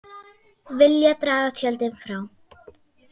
Vilja draga tjöldin frá